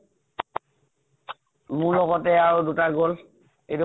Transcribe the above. মোৰ লগতে আৰু দুটা গল, এইতো